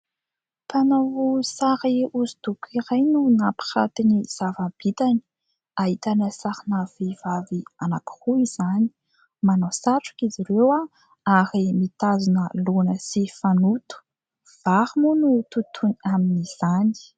Mpanao sary hosodoko iray no mampiranty ny zava - bitany, ahitana sarina vehivavy anankiroa izany ; manao satroka izy ireo ary mitazona laona sy fanoto, vary moa no totoiny amin'izany.